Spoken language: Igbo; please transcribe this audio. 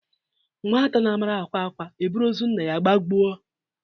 Nwata na amara ákwá ákwá e buru ozu nna ya gabuo a